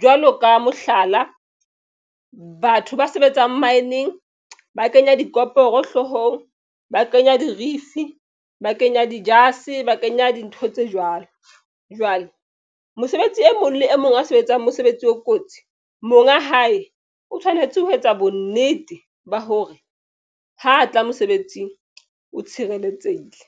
jwalo ka mohlala batho ba sebetsang mine-ng ba kenya dikomporo hloohong, ba kenya dirifi, ba kenya dijase ba kenya dintho tse jwalo jwalo. Mosebetsi e mong le e mong a sebetsang mosebetsi o kotsi monga hae o tshwanetse ho etsa bonnete ba hore ho tla mosebetsing o tshireletsehile.